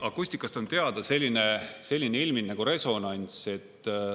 Akustikast on teada selline ilming nagu resonants.